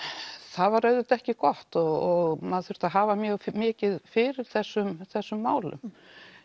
það var auðvitað ekki gott og maður þurfti að hafa mjög mikið fyrir þessum þessum málum